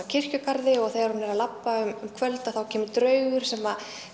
kirkjugarði og þegar hún er að labba um kvöld þá kemur draugur sem